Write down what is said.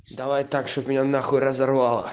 давай так чтоб меня нахуй разорвало